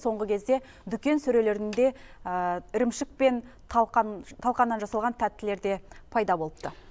соңғы кезде дүкен сөрелерінде ірімшік пен талқан талқаннан жасалған тәттілер де пайда болыпты